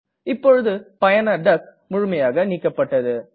இப்பொழுது பயனர் டக் முழுமையாக நீக்கப்பட்டது